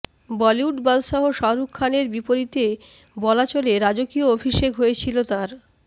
বলিউড বাদশাহ শাহরুখ খানের বিপরীতে বলা চলে রাজকীয় অভিষেক হয়েছিলো তার